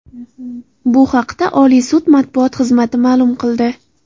Bu haqda Oliy sud matbuot xizmati ma’lum qildi.